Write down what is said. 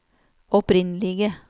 opprinnelige